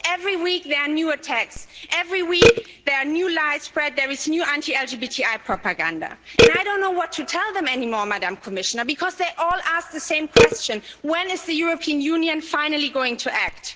Every week there are new attacks, every week there are new lies spread, there is new anti LGBTI propaganda, and I don't know what to tell them anymore, Madam Commissioner, because they all ask the same question when is the European Union finally going to act?